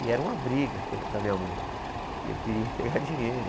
E era uma briga com com a minha mãe, que eu queria pegar dinheiro.